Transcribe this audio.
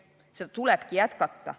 Seda meedet tulebki jätkata.